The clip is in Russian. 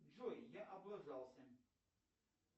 джой я облажался